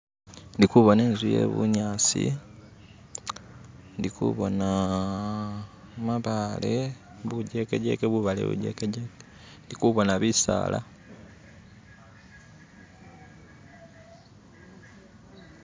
Ndikubona inzu yebunyasi ndikubona mabaale bujekejeke bubaale bujekejeke, ndikubona bisaala.